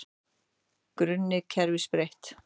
Grunni kerfis breytt